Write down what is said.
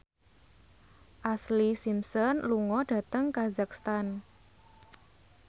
Ashlee Simpson lunga dhateng kazakhstan